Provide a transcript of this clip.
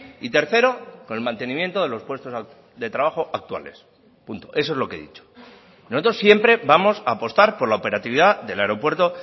y tercero con el mantenimiento de los puestos de trabajo actuales punto eso es lo que he dicho nosotros siempre vamos a apostar por la operatividad del aeropuerto